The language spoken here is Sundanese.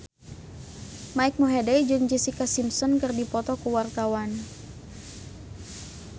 Mike Mohede jeung Jessica Simpson keur dipoto ku wartawan